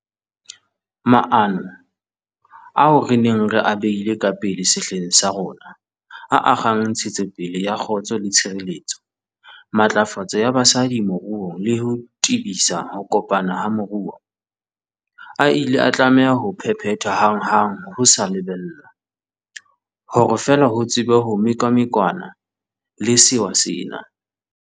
Maano ao re neng re a beile ka pele sehleng sa rona, a akgang ntshetsopele ya kgotso le tshireletso, matlafatso ya basadi moruong le ho tebisa ho kopana ha moruo, a ile a tlameha ho phephethwa hanghang ho sa lebellwa, hore fela ho tsebe ho mekamekanwa le sewa sena.